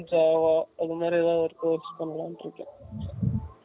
Java அது மாதிரி எதாவது Course பண்ணலாம்ன்னு இருக்கேன்